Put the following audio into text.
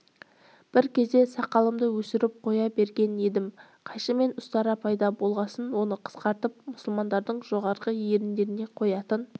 бір кезде сақалымды өсіріп қоя берген едім қайшы мен ұстара пайда болғасын оны қысқартып мұсылмандардың жоғарғы еріндеріне қоятын